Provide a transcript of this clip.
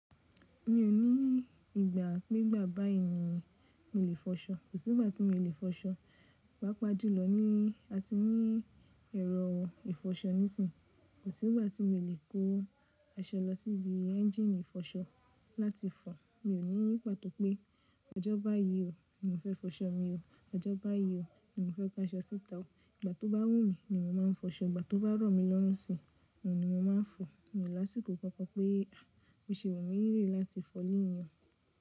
Mi ò ní ìgbà pẹ́gbà bá èèyàn mi lè fọṣọ. Kò sí ìgbà tí mo lè fọṣọ. Pápá jùlọ ní a ti ní ẹ̀rọ ìfọṣọ nísì. Kò sí ìgbà tí mo lè kó aṣọ lọ síbi ẹ́ńjínì ìfọṣọ láti fọ. Mi ò ní ní pàtó pé ọjọ́ bá yí ò ní mo fẹ́ fọṣọ mi o. Ọjọ́ bá yí ò ní mo fẹ́ kó aṣọ síta o. Ìgbà tó bá wù mí ni mo máa ń fọṣọ. Ìgbà tó bá rọ̀ mí lọ́rùnsì ni mo máa ń fọ. Mi ò lásìkò kankan pé bí o ṣe wu mí ri láti fọ lonii.